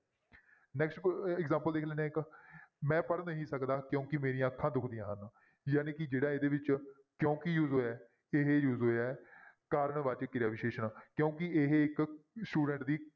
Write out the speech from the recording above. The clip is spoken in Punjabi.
Next example ਦੇਖ ਲੈਂਦੇ ਹਾਂ ਇੱਕ ਮੈਂ ਪੜ੍ਹ ਨਹੀਂ ਸਕਦਾ ਕਿਉਂਕਿ ਮੇਰੀਆਂ ਅੱਖਾਂ ਦੁਖਦੀਆਂ ਹਨ ਜਾਣੀ ਕਿ ਜਿਹੜਾ ਇਹਦੇ ਵਿੱਚ ਕਿਉਂਕਿ use ਹੋਇਆ ਹੈ ਇਹ use ਹੋਇਆ ਹੈ ਕਾਰਨ ਵਾਚਕ ਕਿਰਿਆ ਵਿਸ਼ੇਸ਼ਣ ਕਿਉਂਕਿ ਇਹ ਇੱਕ student ਦੀ